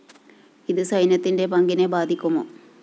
ഇത് സൈന്യത്തിന്റെ പങ്കിനെ ബാധിക്കുമോ